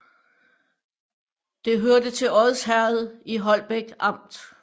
Det hørte til Odsherred i Holbæk Amt